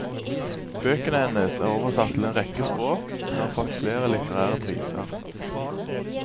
Bøkene hennes er oversatt til en rekke språk, og hun har fått flere litterære priser.